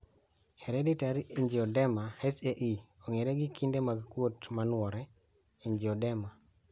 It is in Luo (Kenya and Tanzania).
Hereditary angioedema (HAE) ong'ere gi kinde mag kuot manuore(angioedema)